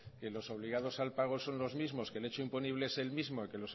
que los obligados al pago son los mismos que el hecho imponible es el mismo y que